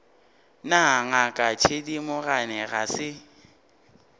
na ngaka thedimogane ga se